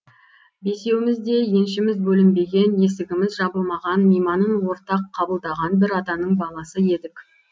бесеуміз де еншіміз бөлінбеген есігіміз жабылмаған мейманын ортақ қабылдаған бір атаның баласы едік